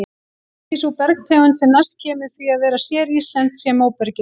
Kannski sú bergtegund sem næst kemst því að vera séríslensk sé móbergið.